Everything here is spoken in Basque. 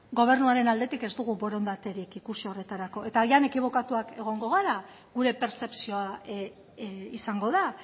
gobernuaren aldetik ez dugu borondaterik ikusi horretarako eta agian ekibokatuak egongo gara gure pertzepzioa izango da